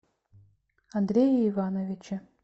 андрее ивановиче